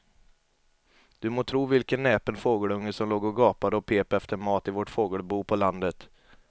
Du må tro vilken näpen fågelunge som låg och gapade och pep efter mat i vårt fågelbo på landet.